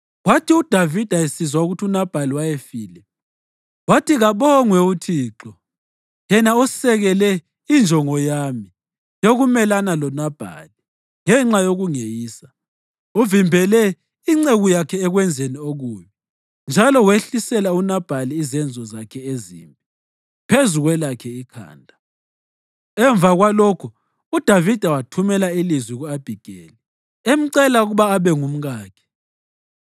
Kwathi uDavida esizwa ukuthi uNabhali wayefile, wathi, “Kabongwe uThixo, yena osekele injongo yami yokumelana loNabhali ngenxa yokungeyisa. Uvimbele inceku yakhe ekwenzeni okubi njalo wehlisela uNabhali izenzo zakhe ezimbi phezu kwelakhe ikhanda.” Emva kwalokho uDavida wathumela ilizwi ku-Abhigeli emcela ukuba abe ngumkakhe.